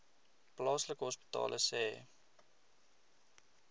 plaaslike hospitale sê